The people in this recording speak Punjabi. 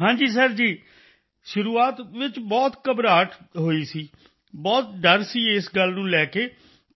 ਹਾਂ ਜੀ ਹਾਂ ਜੀ ਸਰ ਸ਼ੁਰੂਆਤ ਬਹੁਤ ਘਬਰਾਹਟ ਨਰਵਸ ਵਿੱਚ ਹੋਈ ਸੀ ਬਹੁਤ ਡਰ ਸੀ ਇਸ ਗੱਲ ਨੂੰ ਲੈ ਕੇ